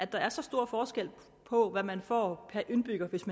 der er så stor forskel på hvad man får per indbygger hvis